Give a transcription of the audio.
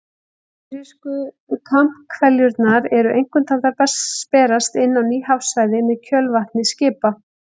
Amerísku kambhveljurnar eru einkum taldar berast inn á ný hafsvæði með kjölvatni skipa.